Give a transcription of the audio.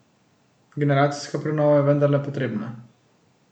Generacijska prenova je vendarle potrebna.